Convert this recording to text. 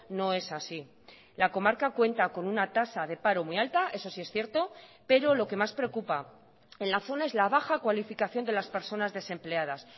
no es así la comarca cuenta con una tasa de paro muy alta eso sí es cierto pero lo que más preocupa en la zona es la baja cualificación de las personas desempleadas